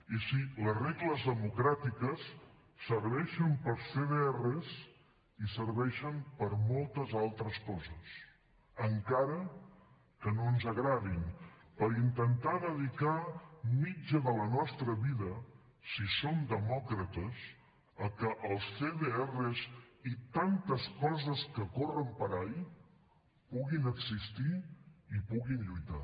i sí les regles democràtiques serveixen per als cdrs i serveixen per a moltes altres coses encara que no ens agradin per intentar dedicar mitja de la nostra vida si som demòcrates a que els cdrs i tantes coses que corren per ahí puguin existir i puguin lluitar